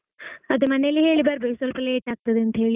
ಅದೇ ಮನೆಯಲ್ಲಿ ಹೇಳಿ ಬರಬೇಕು ಸ್ವಲ್ಪlate ಆಗ್ತದೆ ಅಂತ ಹೇಳಿ.